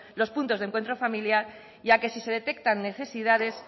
los puntos de encuentro familiar ya que si se detectan necesidades